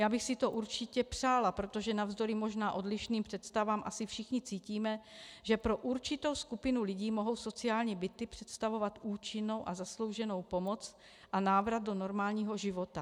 Já bych si to určitě přála, protože navzdory možná odlišným představám asi všichni cítíme, že pro určitou skupinu lidí mohou sociální byty představovat účinnou a zaslouženou pomoc a návrat do normálního života.